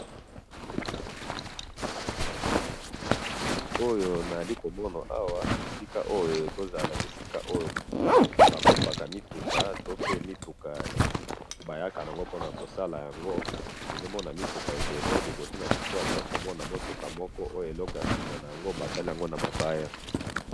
Na moni mutuka munene na balabala ya mabele.